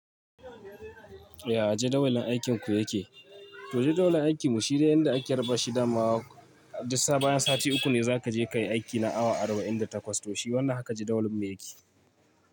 Ya, jadawalin aikinku yake? To jadawalin aikinmu shi dai yanda ake raba shi da ma. Duk sai bayan sati uku ne za ka je ka yi aiki na awa arba'in da takwas. To shi wannan haka jadawalinmu yake.